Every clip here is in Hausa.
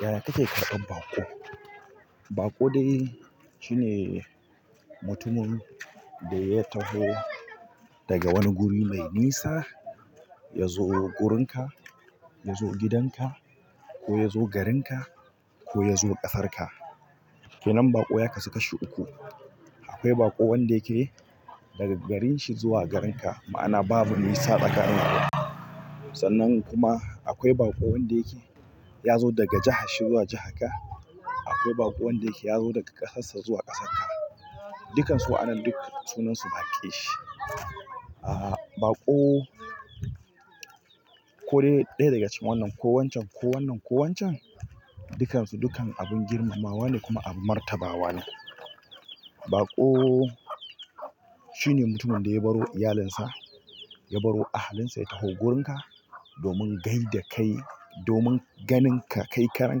Yaya kake ƙarɓar baƙo? Baƙo dai shine mutumin da ya taho daga wani guri mai nisa ya zo wurinka, ya zo gidanka, ko ya zo garinka ko ya zo ƙasarka. Kenan baƙoya kasu kashi uku. Akwai baƙon da yake daga garinshi zuwa garinka, ma'ana babu nisa tsakanin ku. Sannan kuma akwai baƙo wanda yake ya zo daga jihanshi zuwa jiharka. Akwai baƙon wan da yake ya zo daga ƙasarsa zuwa ƙasarka. Dukansu wa'annan duk sunansu baƙi. Aa, baƙo ko dai ɗaya daga cikin wannan ko wancan ko wannan ko wancan, dukansu dukan abin girmamawa ne kuma abun martabawa ne. Baƙo shine mutumin da ya baro iyalinsa, ya baro ahalinsa ya taho wurinka domin gaida kai, domin ganinka, kai karan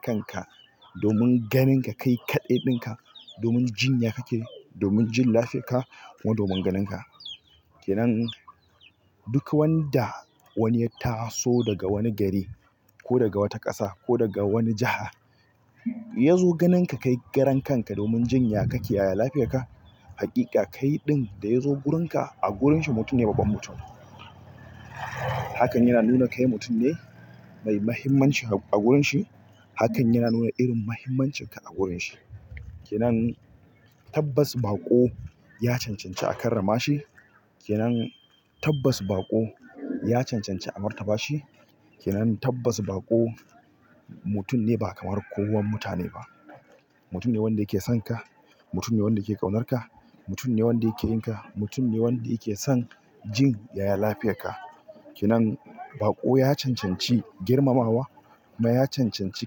kanka, domin ganinka kai kaɗai ɗinka, domin jin yaya kake, domin jin lafiyarka kuma domin ganinka. Kenan duk wanda wani ya tasu daga wani gari ko daga wata kasa ko daga wani jaha yazo ganin ka kai karan kan ka domin jin ya kake ya lafiyan ka hakika kaidin ɗaya zo gurin ka a gurin shi mutum ne babban mutum. Hakan yana nuna kai mutum ne mai muhimmanci a wurinshi. Hakan yana nuna irin muhimmancinka a wurinshi. Kenan tabbas baƙo ya cancanci a karramashi. Kenan tabbas baƙo ya cancanci a martabashi. Kenan tabbas baƙo mutum ne ba kamar kowawan mutane ba. Mutum ne wanda yake sonka, mutum ne wanda yake ƙaunarka. Mutum ne wanda yake yinka. Mutum ne wanda yake son jin yaya lafiyarka. Kenan baƙo ya cancanci girmamawa kuma ya cancanci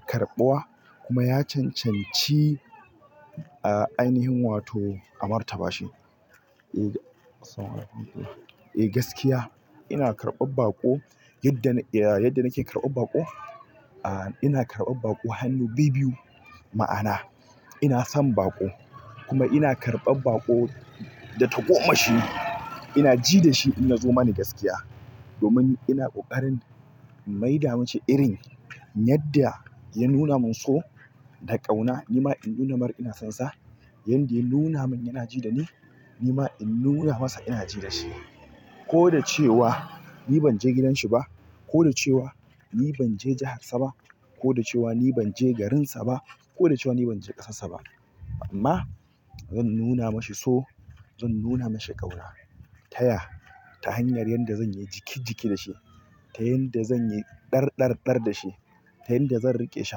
karɓuwa kuma ya cancanci ainihin wato a martabashi. Eh gaskiya ina karɓar baƙo yadda, yadda nike karɓar baƙo. Ina karɓar baƙo hannu biyu biyu. Ma'ana inason baƙo kuma ina karban baƙo da ta gomashi. Ina ji da shi in ya zo mani gaskiya. Domin ina ƙoƙarin mai da mishi irin yadda ya nuna min so da ƙauna, nima in nuna mar ina sonsa. Yanda ya nuna min yana ji da ni, nima in nuna masa ina ji da shi. Ko da cewa ni ban je gidanshi ba, ko da cewa ni ban je jiharsa ba, ko da cewa ni ban je garinsa ba, ko da cewa ni ban je ƙasarsa ba. Amma zan nuna mashi so, zan nuna mashi ƙauna. Taya? Ta hanyar yadda zan yi jiki jiki da shi, ta yadda zan yi dar dar dar da shi, ta yadda zan riƙe shi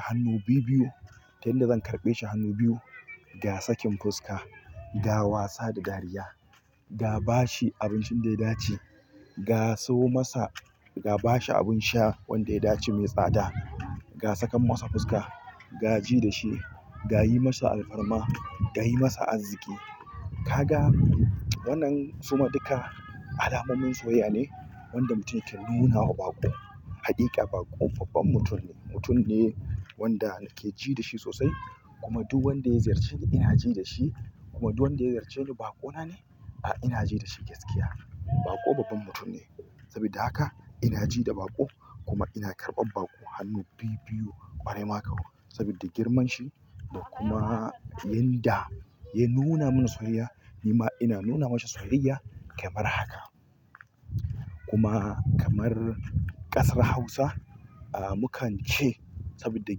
hannu biyu biyu, ta yadda zan karɓe shi hannu biyu. Ga sakin fuska, ga wasa da dariya, ga bashi abincin da ya dace, ga siyo masa, ga bashi abin sha wanda ya dace mai tsada. Ga sakan masa fuska, ga ji da shi, ga yi masa alfarma. Ga yi masa arziki. Kaga wannan suma duka alamomin soyayya ne wanda mutum yake nuna wa baƙo. Haƙiƙa baƙo babban mutum ne, mutum ne wanda yake ji da shi sosai. Kuma duk wanda ya ziyarceni ina ji da shi. Kuma duk wanda ya ziyarce ni baƙo na ne, ah ina ji da shi gaskiya. Baƙo babban mutum ne. Sabida haka ina ji da baƙo kuma ina karɓan baƙo hannu biyu biyu ƙwarai maƙowa. Sabida girman shi da kuma yanda ya nuna mani soyayya nima ina nuna masa soyayya kamar haka. Kuma kamar ƙasar Hausa ah mukan ce saboda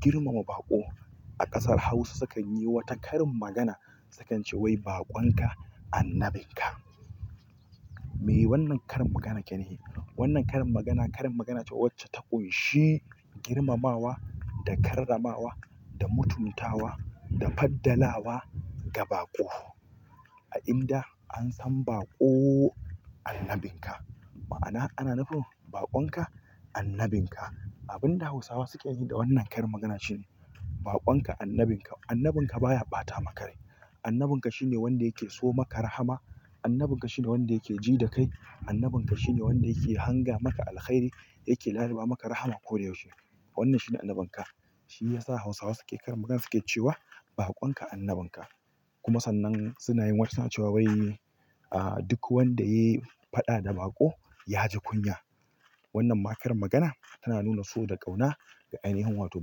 girmama baƙo. A ƙasar hausa sukanyi wata karin magana. Sukan ce "Wai baƙonka annabinka". Me wannan karin magana yake nufi? Wannan karin magana, karin magana ce wacce ta ƙunshi girmamawa da karramawa da mutumtawa da faddalawa ga baƙo. A inda an san baƙo annabinka, ma'ana ana nufin baƙonka annabinka. Abin da Hausawa suke yi da wannan karin magana shine baƙonka annabinka. Annabinka baya bata maka rai. Annabinka shine wanda yake so maka rahama. Annabinka shine wanda yake ji da kai. Annabinka shine wanda yake hanga maka alkhairi, yake laluba maka rahama ko da yaushe. Wannan shine annabinka. Shi ya sa Hausawa suke karin magana suke cewa "Baƙonka annabinka." Kuma sannan suna yin wata ce, cewa "Wai duk wanda ya yi faɗa da baƙo, ya ji kunya." Wannan ma karin magana tana nuna so da ƙauna da ainihin wato.